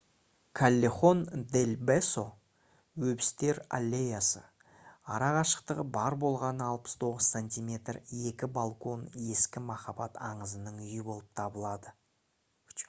каллехон дель бесо өбістер аллеясы. арақашықтығы бар болғаны 69 сантиметр екі балкон ескі махаббат аңызының үйі болып табылады